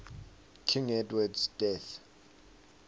king edward's death